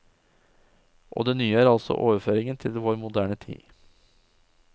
Og det nye er altså overføringen til vår moderne tid.